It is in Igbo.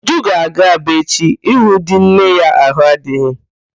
Uju ga-aga Aba echi ịhụ di nne ya ahụ adịghị.